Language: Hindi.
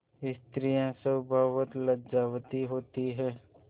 स्त्रियॉँ स्वभावतः लज्जावती होती हैं